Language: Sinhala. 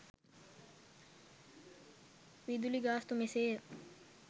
විදුලි ගාස්තු මෙසේය